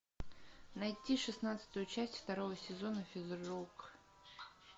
найти шестнадцатую часть второго сезона физрук